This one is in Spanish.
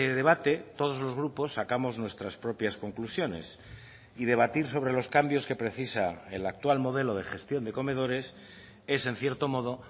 debate todos los grupos sacamos nuestras propias conclusiones y debatir sobre los cambios que precisa el actual modelo de gestión de comedores es en cierto modo